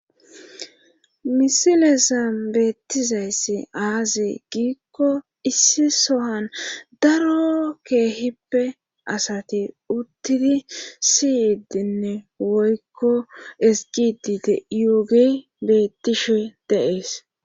misilesa beettizayss aazi giikko issi sohan daro keehippe asati uttidi siyidinne woykko eziggidi bettishe dees.